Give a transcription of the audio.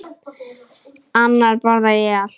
Annars borða ég allt.